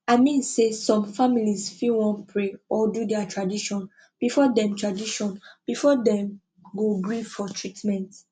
i mean say some families fit wan pray or do their tradition before dem tradition before dem go gree for treatment